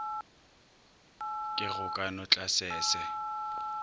ke go ka no tlasese